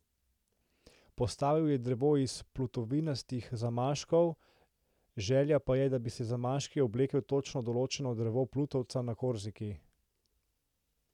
Postavil je drevo iz plutovinastih zamaškov, želja pa je, da bi z zamaški oblekel točno določeno drevo plutovca na Korziki.